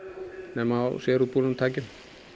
nema á sérútbúnum tækjum